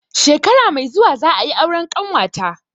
Shekara mai zuwa za a yi auren ƙanwa ta.